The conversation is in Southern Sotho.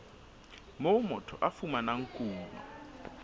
moo motho a fumanang kuno